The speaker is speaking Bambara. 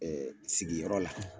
Ɛɛ sigiyɔrɔ la